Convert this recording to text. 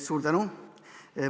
Suur tänu!